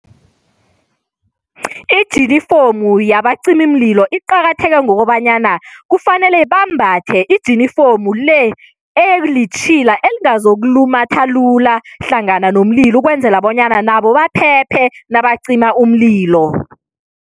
Ijinifomu yabacimimlilo iqakatheke ngokobanyana kufanele bambathe ijinifomu le elitjhila elingazokulumatha lula hlangana nomlilo ukwenzela bonyana nabo baphephe nabacima umlilo.